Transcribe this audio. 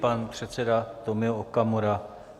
Pan předseda Tomio Okamura.